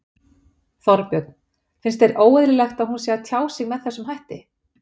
Þorbjörn: Finnst þér óeðlilegt að hún sé að tjá sig með þessum hætti?